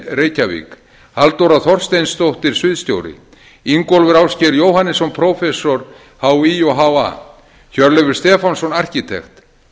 reykjavík halldóra þorsteinsdóttir sviðsstjóri ingólfur ásgeir jóhannesson prófessor hí og ha hjörleifur stefánsson arkitekt